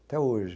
Até hoje.